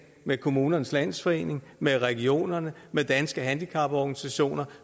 med kommunernes landsforening med regionerne med danske handicaporganisationer